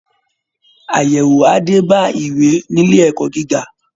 Àyẹ̀wò á dé bá ìwé nílé ẹ̀kọ́ gíga